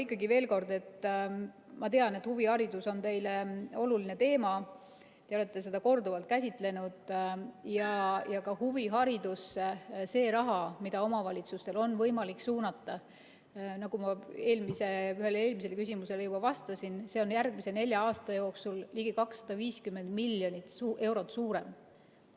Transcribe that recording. Ikkagi veel kord : ka see raha, mida omavalitsustel on võimalik huviharidusse suunata, nagu ma ühele eelmisele küsimusele juba vastasin, on järgmise nelja aasta jooksul ligi 250 miljonit eurot suurem.